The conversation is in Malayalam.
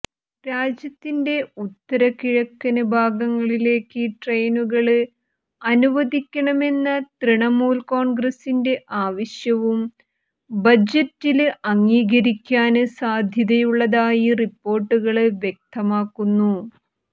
രാജ്യത്തിന്റെ ഉത്തര കിഴക്കന് ഭാഗങ്ങളിലേക്ക് ട്രെയിനുകള് അനുവദിക്കണമെന്ന തൃണമൂല് കോണ്ഗ്രസിന്റെ ആവശ്യവും ബജറ്റില് അംഗീകരിക്കാന് സാധ്യതയുള്ളതായി റിപ്പോര്ട്ടുകള് വ്യക്തമാക്കുന്നു